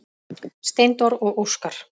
Steindór og Óskar.